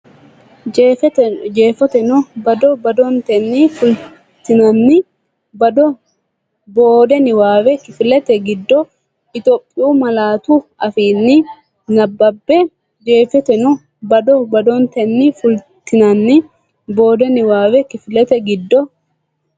Jeefoteno bado badotenni fultinanni boode niwaaawe kifilete giddo Itophiyu malaatu afiinni nabbabbe Jeefoteno bado badotenni fultinanni boode niwaaawe kifilete giddo.